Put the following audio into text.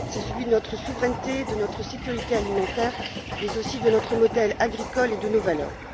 Il en va de notre souveraineté, de notre sécurité alimentaire, mais aussi de notre modèle agricole et de nos valeurs.